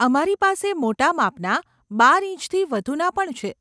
અમારી પાસે મોટા માપના બાર ઈંચથી વધુના પણ છે.